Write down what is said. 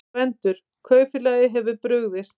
GVENDUR: Kaupfélagið hefur brugðist.